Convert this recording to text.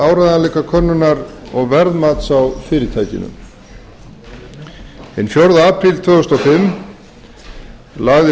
áreiðanleikakönnunar og verðmats á fyrirtækinu hinn fjórða apríl tvö þúsund og fimm lagði